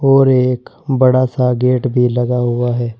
और ये एक बड़ा सा गेट भी लगा हुआ है।